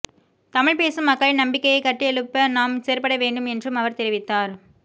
தமிழ் பேசும் மக்களின் நம்பிக்கையை கட்டியெழுப்ப நாம் செயற்பட வேண்டும் என்றும் அவர் தெரிவித்தார்